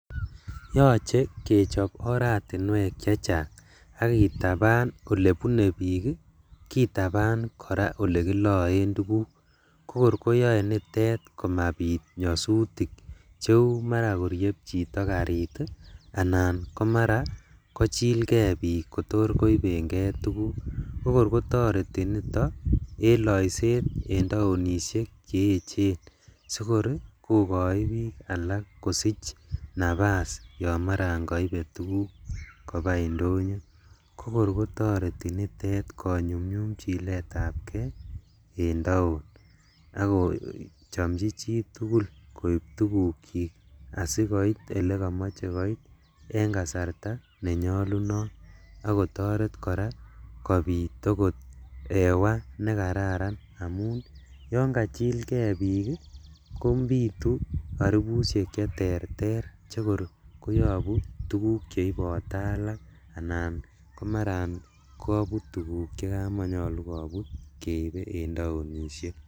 Yoche kechop oratinwek chechang ak kitaban olebune bik ii, kitaban koraa elekiloen tuguk kokor koyoe nitet komabit nyosutik cheu mara korieb chito karit ii, anan komaran kochikee bik j kotokor koibengee tuguk, kokor kotoreti nito en loiset en taoinishek cheechen sikor kokoik bik alak kosich napas yon maran koibe tuguk kobaa indonyo, kokor kotoreti nitet konyumyum chiletab kee en taon, ak kochomchi chitugul koib tugukchij asikoit elekomoche sikoit en kasarta nenyolunot ak kotoret kobit okot hewa nekararan, amun yon kachilkee bik ii kobitu oribushek cheterter chekor koyobu tuguk cheibote alak anan komaran kobut tuguk chekamonyolu en taoinishek.